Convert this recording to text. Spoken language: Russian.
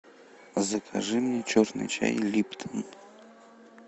закажи мне черный чай липтон